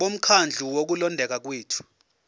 bomkhandlu wokulondeka kwethu